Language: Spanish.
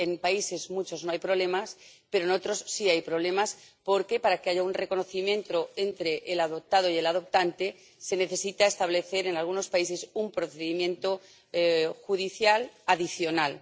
En algunos países no hay problemas, pero en otros sí hay problemas, porque para que haya un reconocimiento entre el adoptado y el adoptante se necesita establecer, en algunos países, un procedimiento judicial adicional.